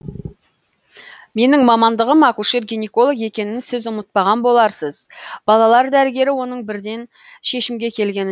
менің мамандығым акушер гинеколог екенін сіз ұмытпаған боларсыз балалар дәрігері оның бірден шешімге келгеніне